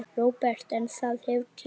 Róbert: En það hefur tekist?